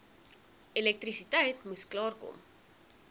elektrisiteit moes klaarkom